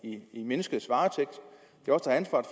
i menneskets varetægt